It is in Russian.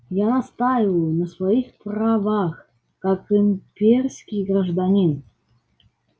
я настаиваю на своих правах как имперский гражданин